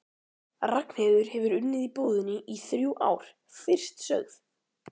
Ragnheiður hefur unnið í búðinni í þrjú ár, fyrst sögð